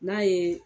N'a ye